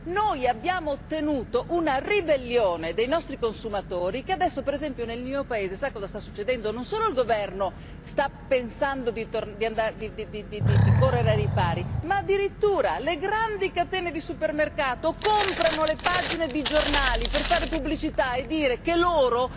Noi abbiamo ottenuto una ribellione dei nostri consumatori e adesso, per esempio nel mio paese, sta succedendo che non solo il governo sta pensando di correre ai ripari ma, addirittura, le grandi catene di supermercati comprano le pagine dei giornali per fare pubblicità e dire che loro